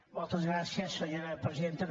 moltes gràcies senyora presidenta